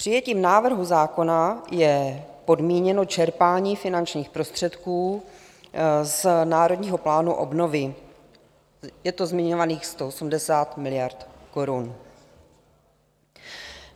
Přijetím návrhu zákona je podmíněno čerpání finančních prostředků z Národního plánu obnovy, je to zmiňovaných 180 miliard korun.